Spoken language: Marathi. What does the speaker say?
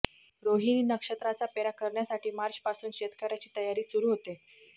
रोहिणी नक्षत्राचा पेरा करण्यासाठी मार्चपासून शेतकऱ्याची तयारी सुरू होते